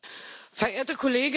Verehrte Kollegin!